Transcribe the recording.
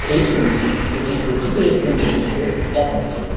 এই ছবিটি একটি সজ্জিত রেস্টুরেন্টের দৃশ্য দেখাচ্ছে।